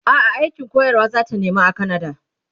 a'a aikin koyarwa zata nema a kanada